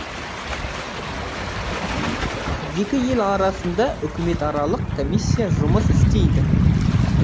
екі ел арасында үкіметаралық комиссия жұмыс істейді